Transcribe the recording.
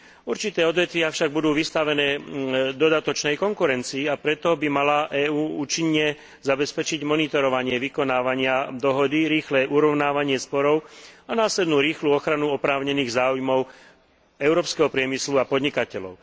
Určité odvetvia však budú vystavené dodatočnej konkurencii, a preto by mala EÚ účinne zabezpečiť monitorovanie vykonávania dohody, rýchle urovnávanie sporov a následnú rýchlu ochranu oprávnených záujmov európskeho priemyslu a podnikateľov.